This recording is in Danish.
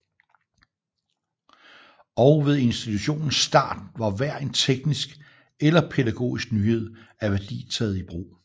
Og ved institutionens start var hver en teknisk eller pædagogisk nyhed af værdi taget i brug